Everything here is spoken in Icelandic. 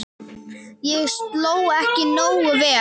Ég sló ekki nógu vel.